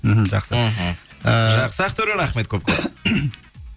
мхм жақсы мхм ыыы жақсы ақтөре рахмет көп көп